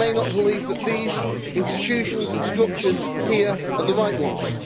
I may not believe that these institutions and structures here are the right ones.